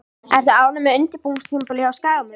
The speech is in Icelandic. Ertu ánægður með undirbúningstímabilið hjá Skagamönnum?